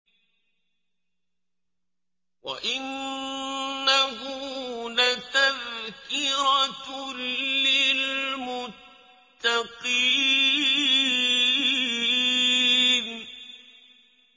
وَإِنَّهُ لَتَذْكِرَةٌ لِّلْمُتَّقِينَ